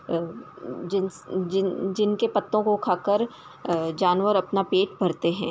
अ जिंस जिन जिनके पत्तों को खाकर अ जानवर अपना पेट भरते हैं।